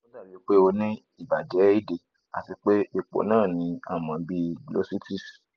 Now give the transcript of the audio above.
o dabi pe o ni ibajẹ ede ati pe ipo naa ni a mọ bi glossitis